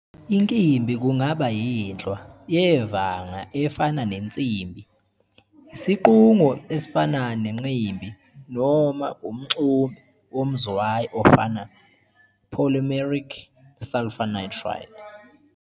Inkimbi kungaba yinhlwa yevanga efana nensimbi, isiqungo esifana nenqimbi, noma umxumbe womzwayi ofana "polymeric sulfur nitride".